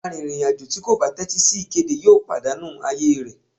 Àrìnrìn-àjò tí kò bá tẹ́tí sí ìkéde yóò pàdánù ààyè rẹ̀.